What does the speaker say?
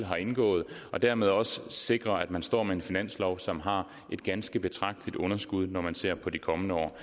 har indgået og dermed også ude at sikre at man står med en finanslov som har et ganske betragteligt underskud når man ser på de kommende år